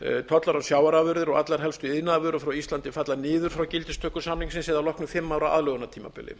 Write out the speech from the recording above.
tollar á sjávarafurðir og allar helstu iðnaðarvörur frá íslandi falla niður frá gildistöku samningsins eða að loknu fimm ára aðlögunartímabili